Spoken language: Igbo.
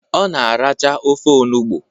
Ọ na aracha ofe onugbo.